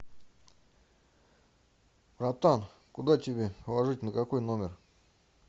братан куда тебе ложить на какой номер